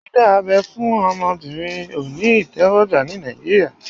Dídá abẹ́ fún obìnrin òní ìtẹ́wọ́gbà ní Nàìjíríà